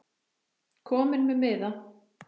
Kominn með miða?